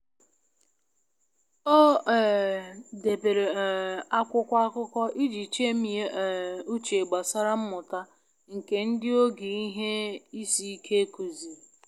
Ha dabere na onwe ha mgbe ha n'eme mgbanwe na obodo ọhụrụ na omenala ndị ha na amabughị ama.